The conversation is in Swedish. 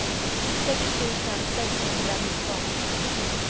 sex tusen sexhundranitton